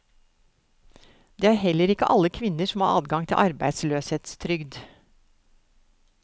Det er heller ikke alle kvinner som har adgang til arbeidsløshetstrygd.